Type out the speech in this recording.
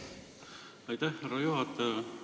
Aitäh, härra juhataja!